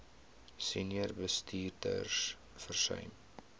senior bestuurders versuim